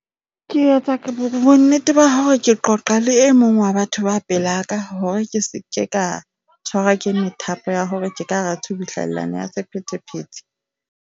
Ke etsa bo nnete ba hore ke qoqa le e mong wa batho ba pelaka hore ke seke ka tshwarwa ke methapo ya hore ke ka hara tsubuhlellano ya sephethephethe.